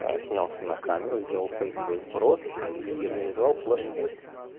снялся на камеру сделал фейковый вброс и организовал флешмоб